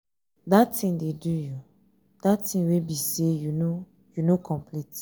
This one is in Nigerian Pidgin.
dat thing dey do you? dat thing wey be say you no you no complete.